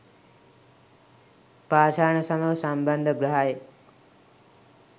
පාෂාණ සමඟ සම්බන්ධ ග්‍රහයෙක්.